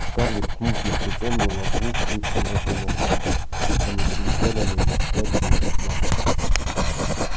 скарлетт смутно припомнила двух вышеназванных дам они приезжали на её свадьбу из атланты